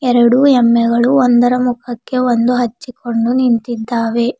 ಎರಡು ಎಮ್ಮೆಗಳು ಒಂದರ ಮುಖಕ್ಕೆ ಒಂದು ಹಚ್ಚಿಕೊಂಡು ನಿಂತಿದ್ದಾವೆ.